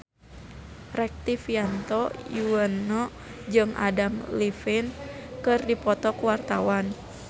Rektivianto Yoewono jeung Adam Levine keur dipoto ku wartawan